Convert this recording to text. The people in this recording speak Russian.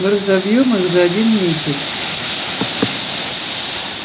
мы разобьём их за один месяц